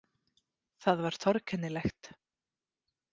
Það var torkennilegt.